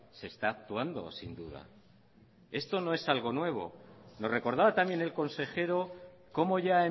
se está actuando sin duda esto no es algo nuevo lo recordaba también el consejero como ya